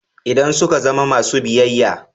Idan suka zama masu biyayya.